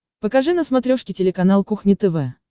покажи на смотрешке телеканал кухня тв